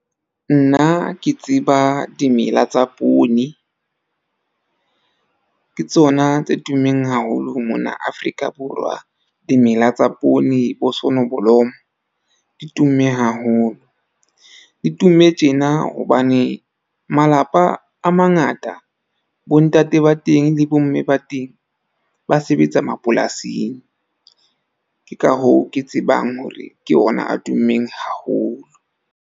Nna ke tseba dimela tsa poone. Ke tsona tse tummeng haholo mona Afrika Borwa. Dimela tsa poone bo sonoblomo di tumme haholo. Di tumme tjena hobane malapa a mangata bo ntate ba teng le bomme ba teng ba sebetsa mapolasing. Ke ka hoo ke tsebang hore ke ona a tummeng haholo.